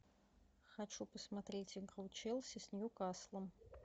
хочу посмотреть игру челси с ньюкаслом